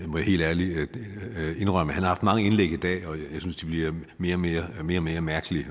må jeg helt ærligt indrømme han har haft mange indlæg i dag og jeg synes de bliver mere mere og mere mærkelige